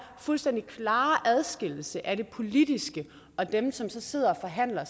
fuldstændig klare adskillelse af det politiske og dem som sidder og forhandler